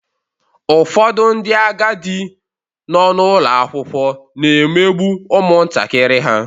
Ụfọdụ ndị agadi nọ n'ụlọ akwụkwọ na-emegbu ụmụntakịrị ha.